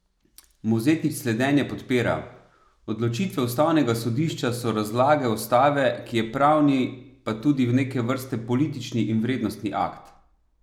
Mozetič slednje podpira: "Odločitve ustavnega sodišča so razlaga ustave, ki je pravni pa tudi neke vrste politični in vrednostni akt.